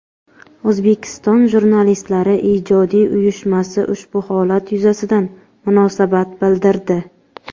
O‘zbekiston Jurnalistlari ijodiy uyushmasi ushbu holat yuzasidan munosabat bildirdi.